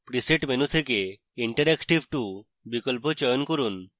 presets menu থেকে interactive 2 বিকল্প চয়ন from